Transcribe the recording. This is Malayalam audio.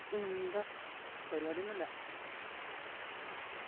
യെന്താ പരിവാടിയൊന്നില്യാ